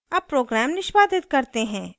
अब program निष्पादित करते हैं